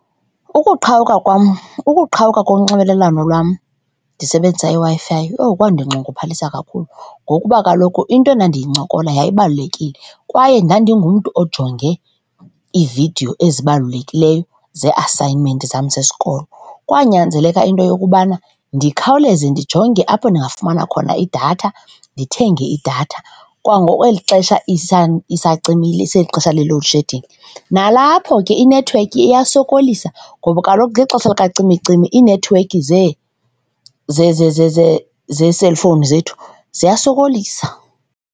Ukuqhawuka kwam, ukuqhawuka konxibelelwano lwam ndisebenzise iWi-Fi, owu, kwandinxunguphalisa kakhulu ngokuba kaloku into endandiyincokola yayibalulekile kwaye ndandingumntu ojonge iividiyo ezibalulekileyo zee-assignment zam zesikolo. Kwanyanzeleka into yokubana ndikhawuleze ndijonge apho ndingafumana khona idatha, ndithenge idatha kwangoku kweli ixesha isacimile, iselixesha le-load shedding. Nalapho ke inethiwekhi iyasokolisa ngoba kaloku ngexesha lukacimicimi iinethiwekhi zeeselfowuni zethu ziyasokolisa.